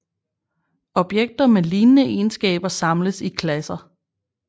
Objekter med lignende egenskaber samles i klasser